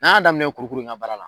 N'a y'a daminɛ kurukuru in ka baara la